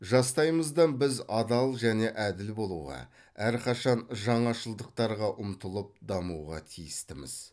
жастайымыздан біз адал және әділ болуға әрқашан жаңашылдықтарға ұмтылып дамуға тиістіміз